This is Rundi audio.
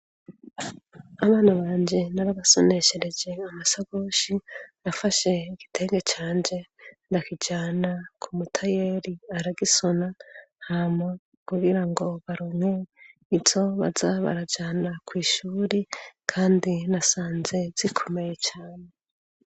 abana banje narabasoneshereje amasakoshi nafashe igitege canje ndakijana ku mutayeri aragisona hama kugira ngo baronke izo baza barajana kwishuri kandi nasanze zikomeye cyane